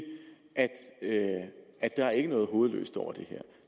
at der ikke er noget hovedløst over det her